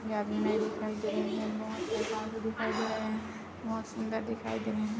मे आदमी दिखाई दे रहे है बहुत पास में दिखाई दे रहे है बहुत सुंदर दिखाई दे रहे है।